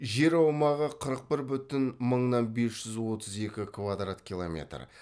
жер аумағы қырық бір бүтін мыңнан бес жүз отыз екі квадрат километр